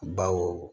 Baw